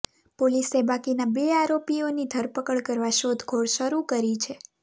પોલીસે બાકીના બે આરોપીઓની ધરપકડ કરવા શોધખોળ શરૂ કરી છે